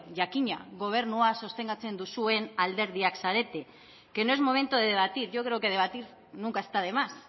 jakina gobernua sostengatzen duzuen alderdiak zarete que no es momento de debatir yo creo que debatir nunca está de más